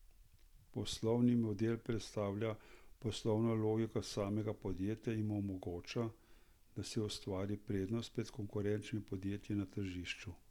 Poslovni model predstavlja poslovno logiko samega podjetja in mu omogoča, da si ustvari prednost pred konkurenčnimi podjetji na tržišču.